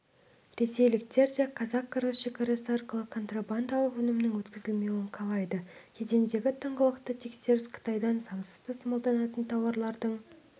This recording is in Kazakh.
ресейліктер де қазақ-қырғыз шекарасы арқылы контрабандалық өнімнің өткізілмеуін қалайды кедендегі тыңғылықты тексеріс қытайдан заңсыз тасымалданатын тауарлардың